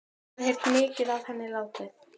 Hafði heyrt mikið af henni látið.